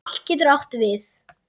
Atli getur átt við